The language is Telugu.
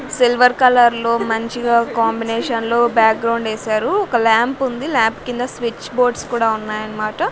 సిల్వర్ కలర్ లో మంచిగ ఒ కాంబినేషన్ లో బ్యాక్ గ్రౌండ్ ఎసారు ఒక ల్యాంపుంది ల్యాప్ కింద స్విచ్ బోర్డ్స్ కూడా ఉన్నాయన్మాట.